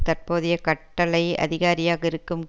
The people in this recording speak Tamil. தற்போதைய கட்டளை அதிகாரியாக இருக்கும்